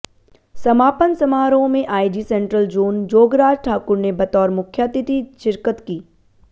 समापन समारोह में IG central zone Jograj Thakur ने बतौर मुख्यातिथि शिरकत की